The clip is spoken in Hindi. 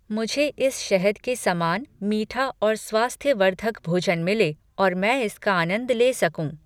मुझे इस शहद के समान मीठा और स्वास्थ्यवर्धक भोजन मिले और मैं इसका आनंद ले सकूं!